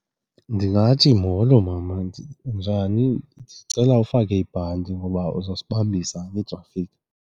Ndingathi, molo mama, unjani? Ndicela ufake ibhanti ngoba uzasibambisa ngeetrafikhi.